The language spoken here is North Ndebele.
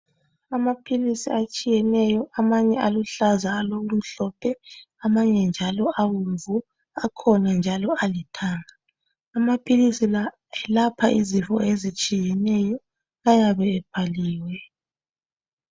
Amaphilisi atshiyeneyo amanye alokuhlaza amanye alokumhlophe akhona njalo alithanga. Amaphilisi alapha izifo ezitshiyeneyo ayabe ebhaliwe.